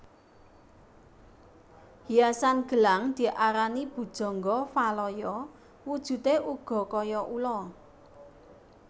Hiasan gelang diarani Bhujangga Valaya wujudé uga kaya ula